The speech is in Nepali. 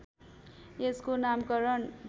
यसको नामकरण